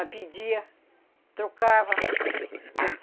pedia, trocava.